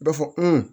B'a fɔ